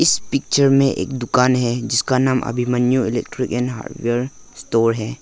इस पिक्चर में एक दुकान है जिसका नाम Abhimanyu electrical and hardware store है।